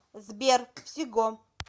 сбер всего